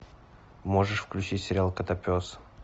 можешь включить сериал котопес